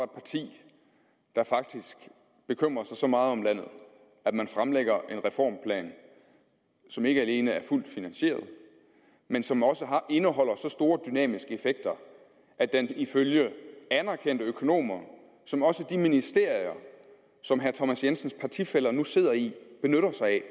parti der faktisk bekymrer sig så meget om landet at man fremlægger en reformplan som ikke alene er fuldt finansieret men som også indeholder så store dynamiske effekter at den ifølge anerkendte økonomer som også de ministerier som herre thomas jensens partifæller nu sidder i benytter sig af